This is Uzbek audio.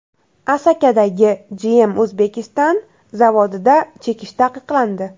Asakadagi GM Uzbekistan zavodida chekish taqiqlandi.